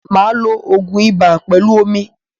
Máa lo ògun ibà pẹlú omi.